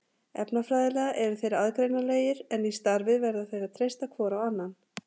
Efnafræðilega eru þeir aðgreinanlegir en í starfi verða þeir að treysta hvor á annan.